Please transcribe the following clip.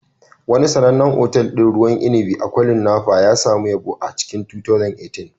Wani sanannen otal ɗin ruwan inibi a kwarin Napa ya sami yabo a cikin 2018